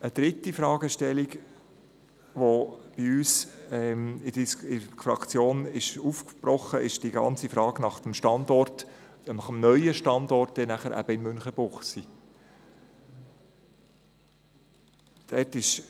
Eine dritte Fragestellung, die bei uns in der Fraktion aufgetaucht ist, betrifft den neuen Standort in Münchenbuchsee.